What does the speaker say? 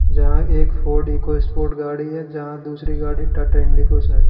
जहां एक Ford EcoSport गाड़ी है। जहाँ दूसरी गाड़ी टाटा इंडिगोस है।